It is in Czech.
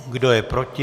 Kdo je proti?